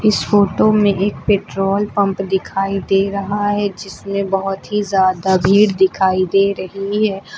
इस फोटो में एक पेट्रोल पंप दिखाई दे रहा है जिसमें बहुत ही ज्यादा भीड़ दिखाई दे रही है।